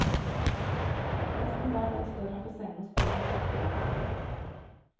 Nesten hver dag står han på scenen og spiller musikk for barn.